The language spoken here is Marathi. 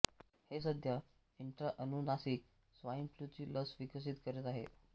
हे सध्या इंट्राअनुनासिक स्वाइन फ्लूची लस विकसित करीत आहे